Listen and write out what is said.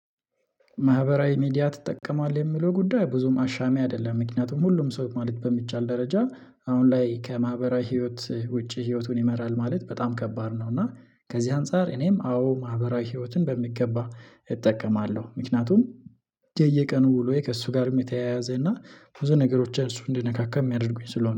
ማህበራዊ ሚዲያ ትጠቀማለህ የሚለው ጉዳይ ብዙም አሻሚ አይደለም ምክንያቱም ሁሉም ሰው ማለት በሚቻል ደረጃ አሁን ላይ ከማህበራዊ ህይወት ውጪ ህይወቱን ይመራል ማለት በጣም ከባድ ነው። እና ከዚህ አንፃር እኔም አዎ ማህበራዊ ህይወትን በሚገባ እጠቀማለሁ። ምክንያቱም የየቀኑ ውሎዬ ከእሱ ጋር የሚተያያዘና ብዙ ነገሮችን እሱ እንዲነካካ የሚያደርጉኝ ስለሆነ